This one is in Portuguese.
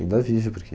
Ainda vive, porque...